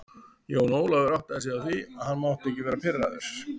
Jón Ólafur áttaði sig á því að hann mátti ekki vera pirraður.